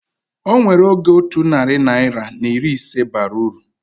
Onwere oge otu narị naira na iri ise bara uru